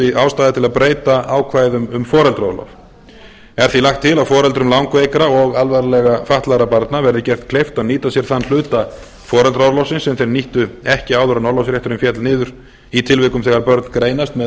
þótti ástæða til að breyta ákvæðum um foreldraorlof er því lagt til að foreldrum langveikra og alvarlega fatlaðra barna verði gert kleift að nýta sér þann hluta foreldraorlofsins sem þeir nýttu ekki áður en orlofsrétturinn féll niður í tilvikum þegar börn greinast með